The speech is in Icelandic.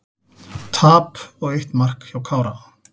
Tap og eitt mark hjá Kára